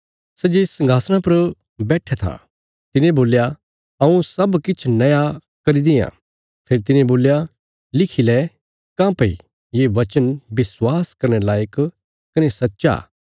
सै जे संघासणा पर बैट्ठया था तिने बोल्या हऊँ सब किछ नया करी देआं फेरी तिने बोल्या लिखी लै काँह्भई ये वचन विश्वास करने लायक कने सच्चा